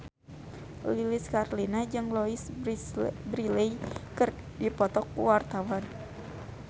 Lilis Karlina jeung Louise Brealey keur dipoto ku wartawan